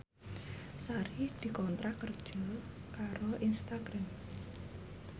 Sari dikontrak kerja karo Instagram